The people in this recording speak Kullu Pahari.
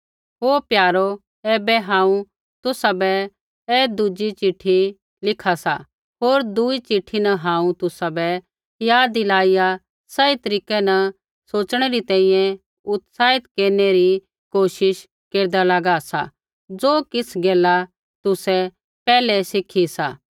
हे प्यारो ऐबै हांऊँ तुसाबै ऐ दुज़ी चिट्ठी लिखा सा होर दुई चिट्ठी न हांऊँ तुसाबै याद दिलाइया सही तरीकै न सोच़णै री तैंईंयैं उत्साहित केरनै री कोशिश केरदा लागा सा ज़ो किछ़ गैला तुसै पैहलै ही सिखु सा